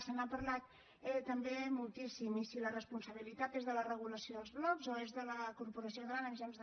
se n’ha parlat eh també moltíssim i si la responsabilitat és de la regulació dels blocs o és de la corporació catalana de mitjans